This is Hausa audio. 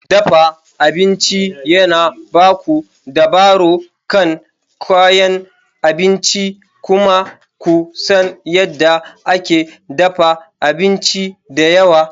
Dafa abinci yana ba ku dabaro kan kayan abinci kuma ku san yadda ake dafa abinci da yawa.